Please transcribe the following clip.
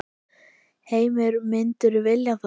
Heimir: Myndirðu vilja það?